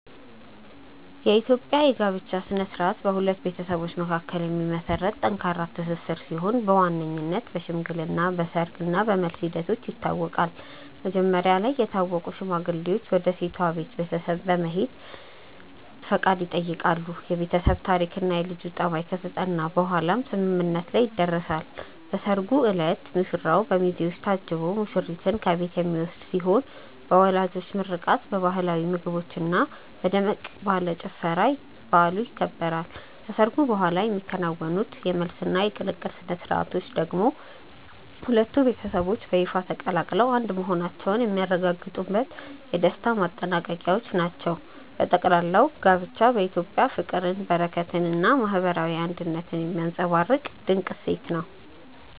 የኢትዮጵያ የጋብቻ ሥነ ሥርዓት በሁለት ቤተሰቦች መካከል የሚመሰረት ጠንካራ ትስስር ሲሆን በዋነኝነት በሽምግልና፣ በሰርግ እና በመልስ ሂደቶች ይታወቃል። መጀመሪያ ላይ የታወቁ ሽማግሌዎች ወደ ሴቷ ቤተሰብ በመሄድ ፈቃድ ይጠይቃሉ፤ የቤተሰብ ታሪክና የልጁ ጠባይ ከተጠና በኋላም ስምምነት ላይ ይደረሳል። በሰርጉ ዕለት ሙሽራው በሚዜዎች ታጅቦ ሙሽሪትን ከቤት የሚወስድ ሲሆን በወላጆች ምርቃት፣ በባህላዊ ምግቦችና በደመቅ ያለ ጭፈራ በዓሉ ይከበራል። ከሰርጉ በኋላ የሚከናወኑት የመልስና የቅልቅል ሥነ ሥርዓቶች ደግሞ ሁለቱ ቤተሰቦች በይፋ ተቀላቅለው አንድ መሆናቸውን የሚያረጋግጡበት የደስታ ማጠናቀቂያዎች ናቸው። በጠቅላላው ጋብቻ በኢትዮጵያ ፍቅርን፣ በረከትንና ማህበራዊ አንድነትን የሚያንፀባርቅ ድንቅ እሴት ነው።